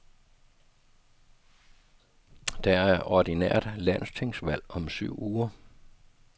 Der er ordinært landstingsvalg om syv uger.